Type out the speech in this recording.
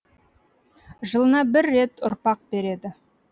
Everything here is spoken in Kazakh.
жылына бір рет ұрпақ береді